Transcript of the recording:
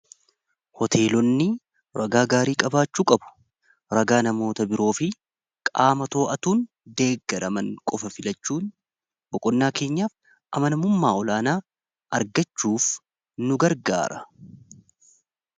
Hoteelonni ragaa gaarii qabaachuu qabu. Ragaa namoota biroo fi qaama too'atuun deeggaraman qofa filachuun boqonnaa keenyaaf amanamummaa olaanaa argachuuf nu gargaara.